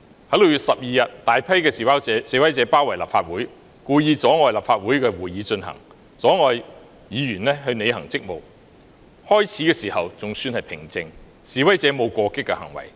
在6月12日，大批示威者包圍立法會大樓，故意阻礙立法會會議進行，阻礙議員履行職務，最初情況尚算平靜，示威者並無過激的行為。